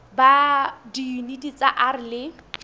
ba diyuniti tsa r le